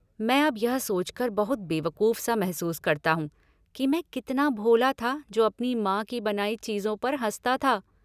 मैं अब यह सोचकर बहुत बेवकूफ सा महसूस करता हूँ कि मैं कितना भोला था जो अपनी माँ की बनाई चीजों पर हंसता था।